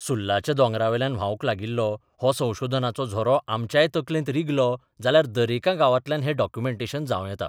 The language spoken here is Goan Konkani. सुर्लाच्या दोंगरावेल्यान व्हावंक लागिल्लो हो संशोधनाचो झरो आमच्याय तकलेंत रिगलो जाल्यार दरेका गांवांतल्यान हें डॉक्युमेंटेशन जांव येता.